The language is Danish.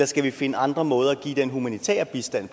skal finde andre måder at give den humanitære bistand